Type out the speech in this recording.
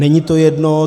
Není to jedno.